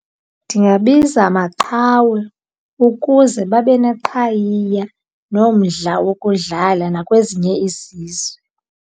Ndingabiza Maqhawe ukuze babe neqhayiya nomdla wokudlala nakwezinye izizwe.